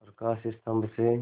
प्रकाश स्तंभ से